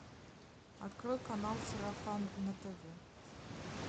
открой канал сарафан на тв